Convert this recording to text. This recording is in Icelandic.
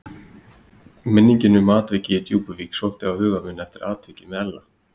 Minningin um atvikið í Djúpuvík sótti á huga minn eftir atvikið með Ella.